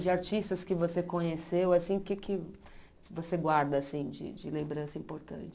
De artistas que você conheceu, assim o que que você guarda assim de de lembrança importante?